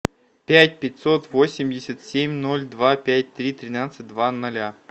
пять пятьсот восемьдесят семь ноль два пять три тринадцать два ноля